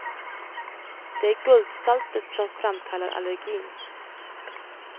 Det är guldsaltet som framkallar allergin.